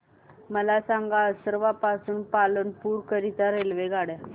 मला सांगा असरवा पासून पालनपुर करीता रेल्वेगाड्या